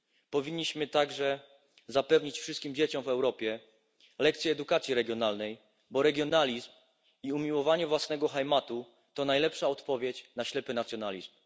Powinniśmy także zapewnić wszystkim dzieciom w Europie lekcje edukacji regionalnej, bo regionalizm i umiłowanie własnego Heimatu to najlepsza odpowiedź na ślepy nacjonalizm.